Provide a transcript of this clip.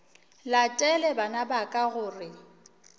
latele bana ba ka gore